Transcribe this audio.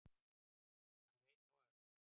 Hann leit á Örn.